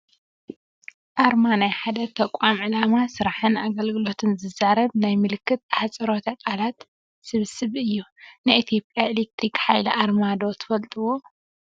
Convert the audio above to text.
ኣርማ፡- ናይ ሓደ ተቋም ዕላማ፣ ስራሕን ኣገልግሎትን ዝዛረብ ናይ ምልክትን ኣህፅሮተ ቃላት ስብስብ እዩ፡፡ ናይ ኢ/ያ ኤሌክትክ ሓይሊ ኣርማ ዶ ትፈልጥዎ?